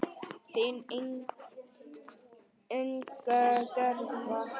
Þín Inga Gerða.